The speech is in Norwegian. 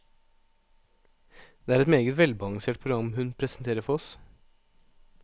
Det er et meget velbalansert program hun presenterer for oss.